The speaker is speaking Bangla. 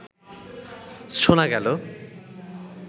শোনা গেল